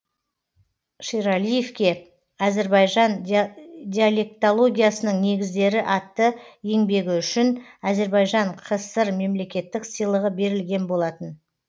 шералиевке әзірбайжан диалектологиясының негіздері атты еңбегі үшін әзірбайжан кср мемлеттік сыйлығы берілген болатын